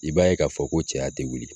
I b'a ye k'a fɔ ko cɛya te wuli.